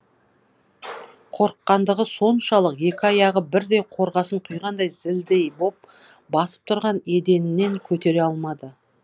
қорыққандығы соншалық екі аяғы бірдей қорғасын құйғандай зілдей боп басып тұрған еденінен көтере алмады